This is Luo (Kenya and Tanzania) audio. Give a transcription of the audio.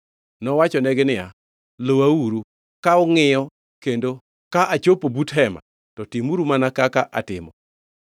Nowachonegi niya, Luwauru ka ungʼiyo kendo ka achopo but hema, to timuru mana kaka atimo.